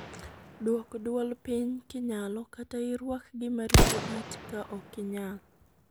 Duok duol piny kinyalo, kata iruak gima rito it ka ok inyal.